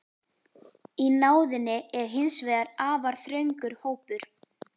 Í náðinni er hins vegar afar þröngur hópur.